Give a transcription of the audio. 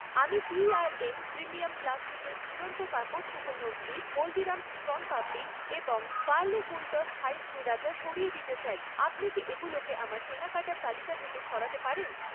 আমি TRM premium প্লাস্টিকের ঝুলন্ত কাপড় শুকানোর ক্লিপ, হলদিরাম'স্ শণপাপড়ি এবং পার্লে ফুলটস্ থাই শ্রীরাচা সরিয়ে দিতে চাই, আপনি কি এগুলোকে আমার কেনাকাটার তালিকা থেকে সরাতে পারেন?